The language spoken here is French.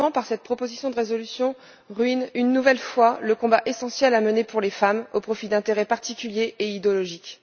Le Parlement, par cette proposition de résolution, ruine une nouvelle fois le combat essentiel à mener pour les femmes au profit d'intérêts particuliers et idéologiques.